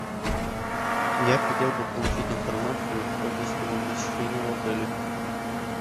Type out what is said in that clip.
я хотел бы получить информацию о гостевом посещении в отеле